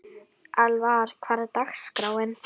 Elvar, hvernig er dagskráin?